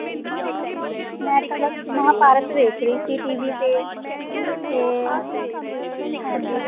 ਮੈਂ ਤਾਂ ਬਸ ਮਹਾਭਾਰਤ ਵੇਖ ਰਹੀ ਸੀ TV ਤੇ ਅੱਛਾ ਤੇ ਹਾਂਜੀ।